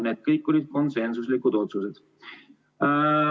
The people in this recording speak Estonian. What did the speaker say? Need kõik olid konsensuslikud otsused.